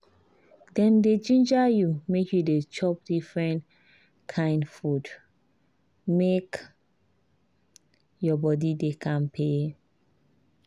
dem dey ginger you make you dey chop different kain food make your body dey kampe.